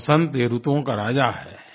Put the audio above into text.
वसन्त ये ऋतुओं का राजा है